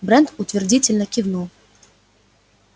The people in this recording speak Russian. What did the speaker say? брент утвердительно кивнул